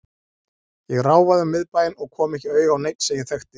Ég ráfaði um miðbæinn og kom ekki auga á neinn sem ég þekkti.